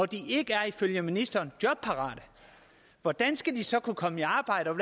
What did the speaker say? de ikke er ifølge ministeren jobparate hvordan skal de så kunne komme i arbejde og